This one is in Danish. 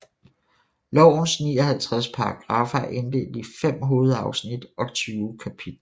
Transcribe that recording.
Lovens 59 paragraffer er inddelt i fem hovedafsnit og 20 kapitler